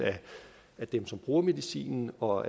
af dem som bruger medicinen og